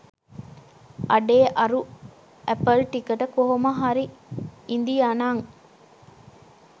අඩේ අරු ඇපල් ටිකට කොමහරි ඉදියනං